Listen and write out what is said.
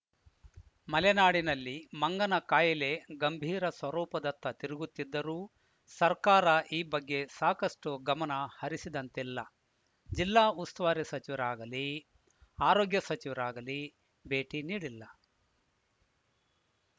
ಮಲೆನಾಡಿನಲ್ಲಿ ಮಂಗನ ಕಾಯಿಲೆ ಗಂಭೀರ ಸ್ವರೂಪದತ್ತ ತಿರುಗುತ್ತಿದ್ದರೂ ಸರ್ಕಾರ ಈ ಬಗ್ಗೆ ಸಾಕಷ್ಟುಗಮನ ಹರಿಸಿದಂತಿಲ್ಲ ಜಿಲ್ಲಾ ಉಸ್ತುವಾರಿ ಸಚಿವರಾಗಲೀ ಆರೋಗ್ಯ ಸಚಿವರಾಗಲೀ ಭೇಟಿ ನೀಡಿಲ್ಲ